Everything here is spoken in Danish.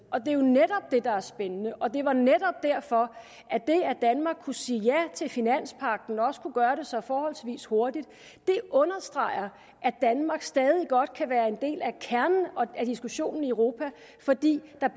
det er der er spændende og det er netop derfor at det at danmark kunne sige ja til finanspagten og også kunne gøre det så forholdsvis hurtigt understreger at danmark stadig væk godt kan være en del af kernen i diskussionen i europa fordi der